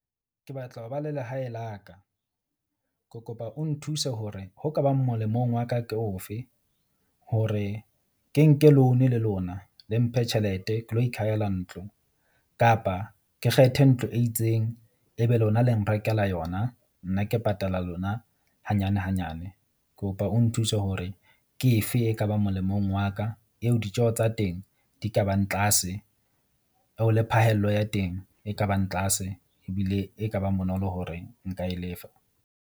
Ke batla ho ba le lehae la ka. Ke kopa o nthuse hore ho ka bang molemong wa ka ke ofe hore ke nke loan le lona le mphe tjhelete ke lo ikhahela ntlo. Kapa ke kgethe ntlo e itseng e be lona le nrekela yona, nna ke patala lona hanyane hanyane. Kopa o nthuse hore ke efe e ka ba molemong wa ka eo ditjeho tsa teng di ka bang tlase o le phahello ya teng e ka bang tlase ebile e ka bang bonolo hore nka e lefa.